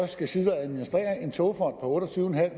skal sidde og administrere en togfond på otte og tyve